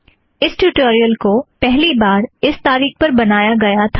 इस ट्यूटोरियल को पहली बार इस तारीख पर बनाया गया था